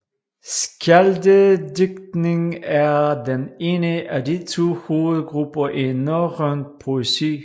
Skjaldedigtning er den ene af de to hovedgrupper i norrøn poesi